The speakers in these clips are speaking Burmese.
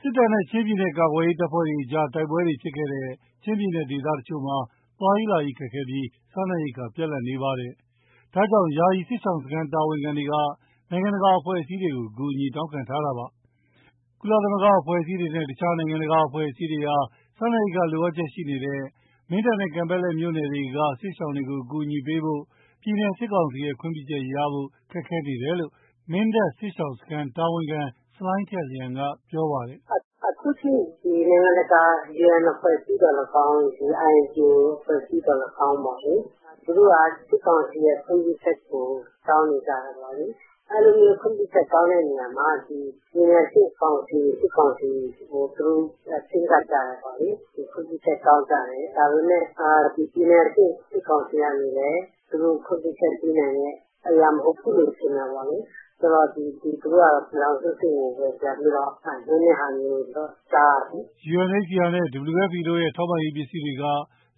စစ်တပ်နဲ့ ချင်းပြည်နယ် ကာကွယ်ရေးတပ်ဖွဲ့တွေကြား တိုက်ပွဲတွေဖြစ်ခဲ့တဲ့ ချင်းပြည်နယ် ဒေသတချို့မှာ သွားရေးလာရေးခက်ခဲပြီး စားနပ်ရိက္ခာ ပြတ်လပ်နေပါတယ်။ ဒါကြောင့် ယာယီစစ်ရှောင်စခန်း တာဝန်ခံတွေက နိုင်ငံတကာအဖွဲ့အစည်းတွေကို အကူအညီ တောင်းခံထားတာပါ။ ကုလသမဂ္ဂအဖွဲ့အစည်းတွေနဲ့ တခြား နိုင်ငံတကာအဖွဲ့အစည်းတွေဟာ စားနပ်ရိက္ခာ လိုအပ်ချက်ရှိနေတဲ့ မင်းတပ်နဲ့ ကန်ပက်လက်မြို့နယ်တို့က စစ်ရှောင်တွေကို အကူအညီပေးဖို့ ပြည်နယ် စစ်ကောင်စီရဲ့ ခွင့်ပြုချက်ရဖို့ ခက်ခဲနေတယ်လို့ မင်းတပ်စစ်ရှောင်စခန်းတာဝန်ခံ ဆလိုင်းထက်လျန်က ပြောပါတယ်။ “အခုအထိ နိုင်ငံတကာ UN အဖွဲ့အစည်းသော်လည်းကောင်း၊ INGO အဖွဲ့အစည်းသော်လည်းကောင်း သူတို့က စစ်ကောင်စီရဲ့ ခွင့်ပြုချက်ကို တောင်းနေကြတယ်ပေါ့လေ။ အဲဒီလို ခွင့်ပြုချက်တောင်းတာမှာ ပြည်နယ်အဆင့်ကောင်စီ စစ်ကောင်စီကို သူတို့ ချဉ်းကပ်ကြတယ်ပေါ့လေ၊ ခွင့်ပြုချက် တောင်းကြတယ်။ ဒါပေမဲ့ ပြည်နယ်အဆင့် စစ်ကောင်စီကနေလည်း သူတို့ခွင့်ပြုချက်ပေးနိုင်တဲ့အရာ မဟုတ်ဘူးလို့ ထင်တာပေါ့လေ။ ဆိုတော့ သူတို့ကတော့ ပြည်ထောင်စုအဆင့်ကိုပဲ ပြန်ပြီးတော့ လွှဲတာမျိုး ကြားရတယ်။” UNHCR တို့ WFP တို့ရဲ့ ထောက်ပံ့ရေးပစ္စည်းတွေက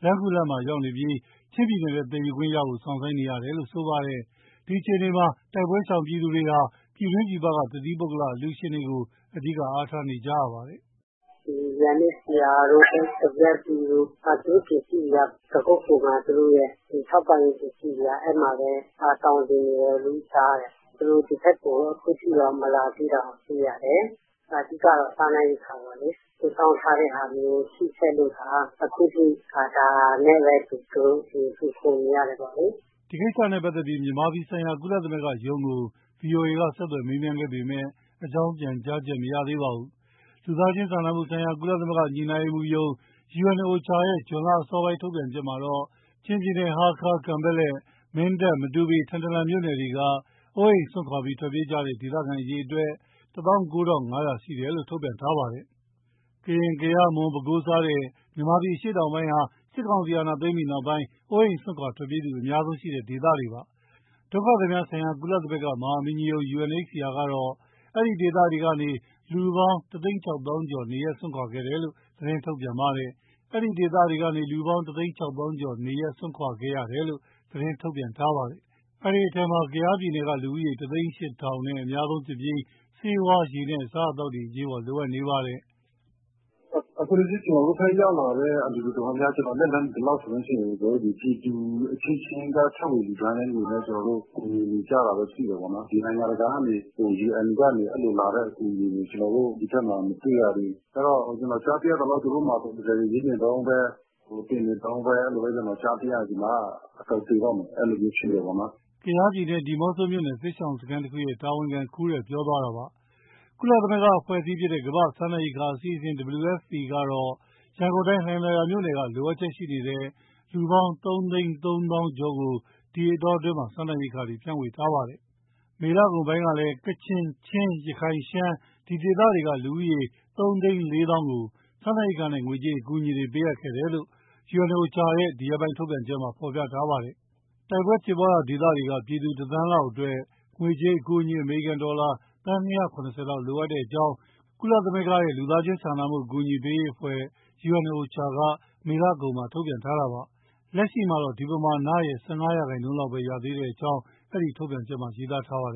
လမ်းခုလတ်မှာရောက်ရှိနေပြီး ချင်းပြည်နယ်ထဲ သယ်ခွင့်ရဖို့ စောင့်ဆိုင်းနေရတယ်လို့ ဆိုပါတယ်။ ဒီအခြေအနေမှာ တိုက်ပွဲရှောင်သူတွေဟာ ပြည်တွင်း၊ ပြည်ပက တသီးပုဂ္ဂလအလှူရှင်တွေကို အဓိကအားထားနေကြရပါတယ်။ “UNHCR တို့ WFP တို့ သူတို့ပစ္စည်းတွေက ပခုက္ကူမှာ သူတို့ရဲ့ ထောက်ပံ့ရေး ပစ္စည်းတွေက အဲဒီမှာပဲ သောင်တင်နေတယ်လို့ ကြားတယ်။ သူတို့ ဒီဘက်ကို အခုအထိတော့ မလာသေးတာကို တွေ့ရတယ်။ အဓိကတော့ စားနပ်ရိက္ခာပေါ့လေ။ စုဆောင်းထားတဲ့ဟာမျိုး ရှိခဲ့လို့သာ အခုအထိ ဒါနဲ့ပဲသူတို့ မှီခိုနေရတယ် ပေါ့လေ။” ဒီကိစ္စနဲ့ပတ်သက်လို့ မြန်မာပြည်ဆိုင်ရာ ကုလသမဂ္ဂရုံးကို ဗွီအိုအေက ဆက်သွယ် မေးမြန်းခဲ့ပေမဲ့ အကြောင်းပြန်ကြားချက် မရသေးပါဘူး။ လူသားစာနာမှုဆိုင်ရာ ကုလသမဂ္ဂညှိနှိုင်းရေးမှုးရုံး UNOCHA ရဲ့ ဇွန်လအစောပိုင်း ထုတ်ပြန်ချက်မှာတော့ ချင်းပြည်နယ် ဟားခါး၊ ကန်ပက်လက်၊ မင်းတပ်၊ မတူပီ၊ ထန်တလန်မြို့နယ်တွေက အိုးအိမ်စွန့်ခွာပြီး ထွက်ပြေးသွားတဲ့ ဒေသခံအရေအတွက် ၁၉,၅၀၀ ရှိတယ်လို့ ထုတ်ပြန်ထားပါတယ်။ ကရင်၊ ကယား၊ မွန်၊ ပဲခူး စတဲ့ မြန်မာပြည် အရှေ့တောင်ပိုင်းဟာ စစ်ကောင်စီ အာဏာသိမ်းပြီးနောက်ပိုင်း အိုးအိမ်စွန့်ခွာထွက်ပြေးသူ အများဆုံးရှိခဲ့တဲ့ ဒေသတွေပါ။ ကုလဒုက္ခသည်များဆိုင်ရာ မဟာမင်းကြီးရုံး UNHCR ကတော့ အဲဒီဒေသတွေကနေ လူပေါင်း ၁၆၀,၀၀၀ ကျော် နေရပ်စွန့်ခွာခဲ့ရတယ်လို့ ထုတ်ပြန်ပါတယ်။ အဲဒီအထဲမှာ ကယားပြည်နယ်က လူဦးရေ ၁၀၈,၀၀၀ နဲ့ အများဆုံးဖြစ်ပြီး ဆေးဝါး၊ ရေနဲ့ အစားအသောက်တွေ အရေးပေါ် လိုအပ်နေတာပါ။ “အခုထိ ကျနော်တို့ဘက်ရောက်လာတဲ့ အလှူအတော်များများ ကျနော် လက်လှမ်းမီသလောက်ဆိုရင် ပြည်သူအချင်းချင်းက ထည့်ဝင်လှူဒါန်းတဲ့ငွေနဲ့ ကူညီနေကြတာပဲ သိတယ်ပေါ့နော်။ ဒီ နိုင်ငံတကာကနေ UN ကနေ လာတဲ့အကူအညီတွေ ကျနော်တို့ ဒီဘက်မှာ မတွေ့ရသေးဘူး။ အဲဒီတော့ ကျနော် ကြားသိရသလောက် သူတို့မှာ proposal ရေးနေတုန်းပဲ၊ တင်နေတုန်းပဲ အဲလိုကြားသိရတယ်၊ ဒီမှာက အကုန်သေတော့မယ် အဲလိုမျိုးဖြစ်နေတယ်။” ကယားပြည်နယ်၊ ဒီးမော့ဆိုမြို့နယ် စစ်ရှောင်စခန်းတခုရဲ့ တာဝန်ခံ ခူးရယ် ပြောသွားတာပါ။ ကုလအဖွဲ့အစည်းဖြစ်တဲ့ ကမ္ဘာ့စားနပ်ရိက္ခာအစီအစဉ် WFP ကတော့ ရန်ကုန်တိုင်း လှိုင်သာယာမြို့နယ်က လိုအပ်ချက်ရှိနေတဲ့ လူပေါင်း ၃၃၀,၀၀၀ ကျော်ကို ဒီအတောအတွင်းမှာ စားနပ်ရိက္ခာတွေ ဖြန့်ဝေထားပါတယ်။ မေလကုန်ပိုင်းကလည်း ကချင်၊ ချင်း၊ ရခိုင်၊ ရှမ်း ဒီဒေသတွေက လူဦးရေး ၃၄၀,၀၀၀ ကို စာနပ်ရိက္ခာနဲ့ ငွေကြေးအကူအညီတွေ ပေးအပ်ခဲ့တယ်လို့ OCHA ရဲ့ ဒီရက်ပိုင်းထုတ်ပြန်ချက်မှာ ဖော်ပြထားပါတယ်။ တိုက်ပွဲဖြစ်ရာဒေသတွေက ပြည်သူ ၁ သန်းလောက်အတွက် ငွေကြေးအကူအညီ အမေရိကန်ဒေါ်လာ သန်း ၂၇၀ လောက်လိုအပ်ကြောင်း ကုလစာနာမှုအဖွဲ့ OCHA က မေလကုန်မှာ ထုတ်ပြန်ထားတာပါ။ လက်ရှိတော့ ဒီပမာဏရဲ့ ၁၅% ရာခိုင်နှုန်းပဲ ရသေးကြောင်း အဲဒီထုတ်ပြန်ချက်မှာ ရေးသားထားပါတယ်